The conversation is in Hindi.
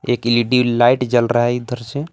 एक इल_ई_डी लाइट जल रहा है इधर से--